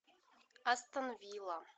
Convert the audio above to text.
астон вилла